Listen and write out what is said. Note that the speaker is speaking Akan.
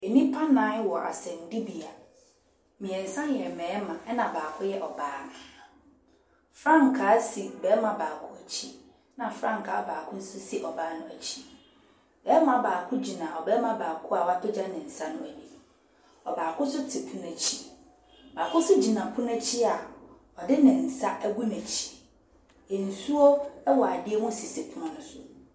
Nnipa nnan wɔ asɛnnibea. Mmeɛnsa yɛ mmarima ɛnna baako yɛ ɔbaa. Frankaa si barima baako akyi, ɛnna frankaa baako nso si ɔbaa no akyi. Barima baako gyina ɔbarima baako a wapagya ne nsa no anim. Ɔbaako nso te n'akyi. Ɔbaako nso gyina pono akyi a ɔde ne nsa agu n'akyi. Nsuo wɔ adeɛ mu sisi pono no so.